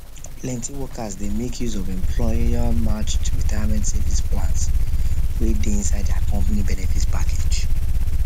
plenty workers dey make use of employermatched retirement savings plan wey dey inside their company benefit package